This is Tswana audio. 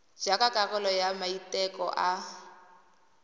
jaaka karolo ya maiteko a